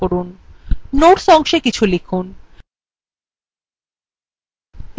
notes অংশে কিছু লিখুন